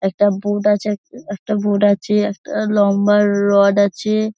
একটা বোর্ড আছে এক একটা বোর্ড আছে একটা লম্বা রড আছে।